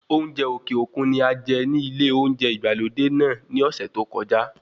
Oúnjẹ òkè òkun ni ajẹ ní ilé olóúnjẹ ìgbàlódé náà ní ọ̀sẹ̀ tí ókojá.